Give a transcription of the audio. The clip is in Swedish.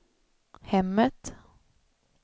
hemmet